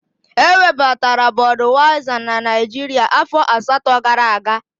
Ewebatara Bọduyaiza na Naijiria afọ asatọ gara aga.